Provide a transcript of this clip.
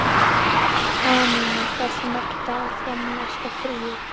Anína, hversu margir dagar fram að næsta fríi?